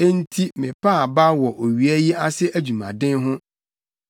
Enti mepaa abaw wɔ owia yi ase adwumaden ho.